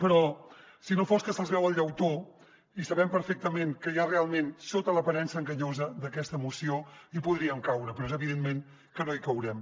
però si no fos que se’ls veu el llautó i sabem perfectament què hi ha realment sota l’aparença enganyosa d’aquesta moció hi podríem caure però és evident que no hi caurem